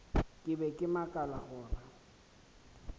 ke be ke makala gore